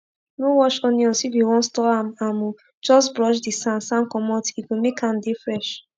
no wash onions if u wan store am am o just brush d san san comot e go make am dey fresh